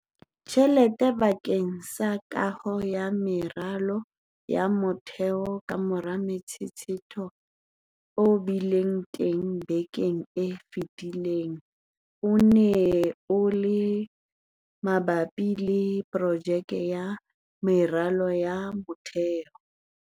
tjhelete bakeng sa kaho ya meralo ya motheo kamora motshetshetho o bileng teng bekeng e fetileng o neng o le mabapi le projeke ya meralo ya motheo.